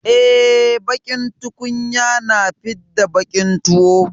E, baƙin tukunya na fidda baƙin tuwo.